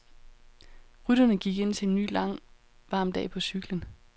Rytterne gik indtil en ny lang, varm dag på cyklen.